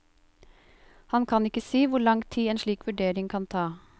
Han kan ikke si hvor lang tid en slik vurdering kan ta.